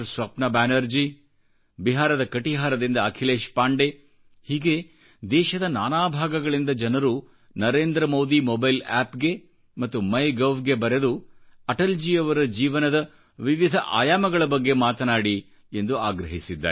ಸ್ವಪ್ನ ಬ್ಯಾನರ್ಜಿ ಬಿಹಾರದ ಕಟಿಹಾರದಿಂದ ಅಖಿಲೇಶ್ ಪಾಂಡೆ ಹೀಗೆ ದೇಶದ ನಾನಾಭಾಗಗಳಿಂದ ಜನರು ನರೇಂದ್ರ ಮೋದಿ ಮೊಬೈಲ್ ಆಪ್ಗೆ ಮತ್ತು ಮೈ ಗೌ ಗೆ ಬರೆದು ಅಟಲ್ಜಿಯವರ ಜೀವನದ ವಿವಿಧ ಆಯಾಮಗಳ ಬಗ್ಗೆ ಮಾತಾಡಿಎಂದು ಆಗ್ರಹಿಸಿದ್ದಾರೆ